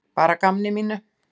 Bara að gamni mínu.